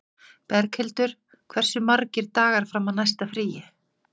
Berghildur, hversu margir dagar fram að næsta fríi?